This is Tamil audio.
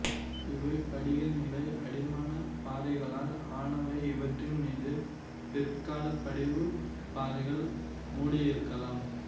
இவை படிகநிலை அடிமானப் பாறைகளால் ஆனவை இவற்றின் மீது பிற்கால படிவுப் பாறைகள் மூடியிருக்கலாம்